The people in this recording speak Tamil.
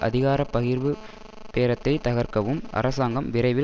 அதிகார பகிர்வு பேரத்தை தகர்க்கவும் அரசாங்கம் விரைவில்